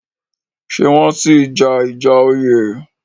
Ṣé wọ́n sì í ja ìjà oyè?